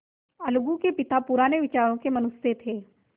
अलगू के पिता पुराने विचारों के मनुष्य थे